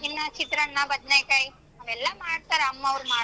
ಇನ್ನ ಚಿತ್ರಾನ್ನ ಬದ್ನೆಕಾಯ್ ಎಲ್ಲಾ ಮಾಡ್ತಾರ್ ಅಮ್ಮಾವ್ರು ಮಾಡ್ತಾರೆ.